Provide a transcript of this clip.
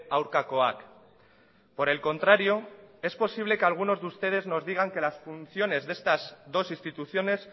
aurkakoak por el contrario es posible que algunos de ustedes nos digan que las funciones de estas dos instituciones